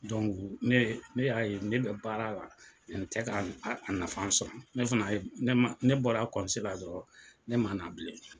ne ye ne y'a ye ne bɛ baara la n tɛ ka a nafa sɔrɔ ne fana ne bɔra la dɔrɔn ne ma na bilen.